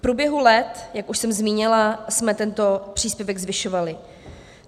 V průběhu let, jak už jsem zmínila, jsme tento příspěvek zvyšovali.